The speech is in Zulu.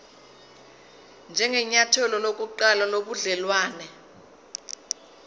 njengenyathelo lokuqala lobudelwane